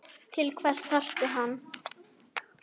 Til hvers þarftu hann?